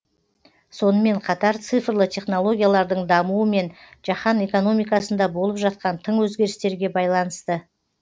сонымен қатар цифрлы технологиялардың дамуы мен жаһан экономикасында болып жатқан тың өзгерістерге байланысты